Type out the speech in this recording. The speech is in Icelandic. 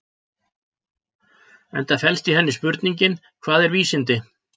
Enda felst í henni spurningin Hvað eru vísindi?